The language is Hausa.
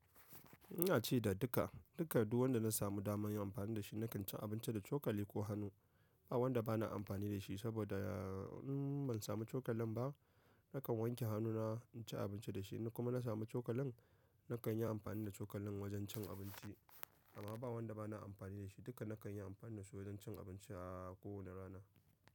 Ina ci da duka, duka duwanda na samu dama yin amfani da shi nakan ci abinci da cokali ko hannu. Ba wanda ba na amfani da shi saboda in ban samu cokalin ba nakan wanke hannuna inci abinci da shi. Kuma na samu cokalin nakan yi amfani da cokalin wajen cin abinci. Amma ba wanda ba na amfani da shi duka nakan yi amfani da su wajen cin abinci a kowane rana.